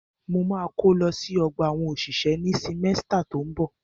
Mo ma kó lọ sí ọgbà àwọn òṣìṣẹ́ ní símẹ́stà tó ń bọ̀.